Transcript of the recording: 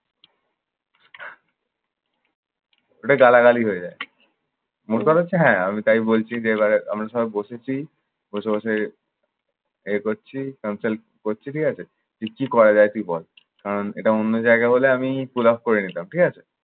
এটা গালাগালি হয়ে যায়। মোট কথা হচ্ছে হ্যাঁ আমি তাই বলছি যে, এবারে আমরা সব বসেছি, বসে বসে ইয়ে করছি consult করছি ঠিক আছে। যে কি করা যায় তুই বল। আহ এটা অন্য জায়গা হলে আমি collapse করে নিতাম, ঠিক আছে?